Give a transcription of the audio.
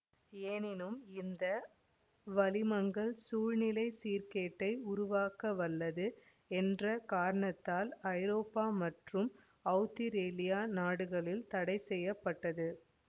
எனினும் இந்த வளிமங்கள் சூழ்நிலை சீர்க் கேட்டை உருவாக்கவல்லது என்ற காரணத்தால் ஐரோப்பா மற்றும் அவுத்திரேலிய நாடுகளில் தடைசெய்யப்பட்டது